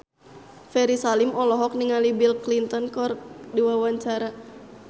Ferry Salim olohok ningali Bill Clinton keur diwawancara